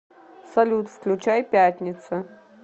салют включай пятница